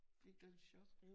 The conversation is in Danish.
Fik du ikke et chok?